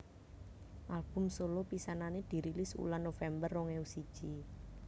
Album solo pisanané dirilis wulan November rong ewu siji